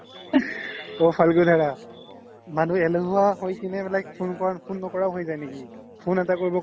মানুহে এলেহুৱা হৈ কিনে like phone ন্কৰাও হৈ যাই নে কি phone এটা